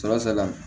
Sɔrɔ sala